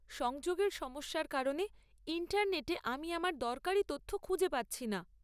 সংযোগের সমস্যার কারণে ইন্টারনেটে আমি আমার দরকারি তথ্য খুঁজে পাচ্ছি না।